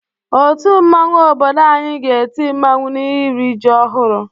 Otu mmanwu obodo anyị ga-eti mmanwụ n'iri ji ọhụrụ.